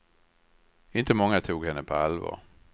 Inte många tog henne på allvar.